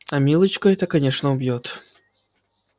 а милочку это конечно убьёт